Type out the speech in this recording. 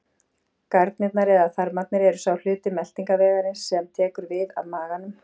Garnirnar eða þarmarnir eru sá hluti meltingarvegarins sem tekur við af maganum.